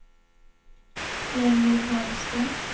Jenny Wahlström